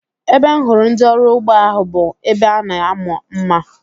Ebe m hụrụ ndị ọrụ ugbo ahu bụ ebe a na-amụ mma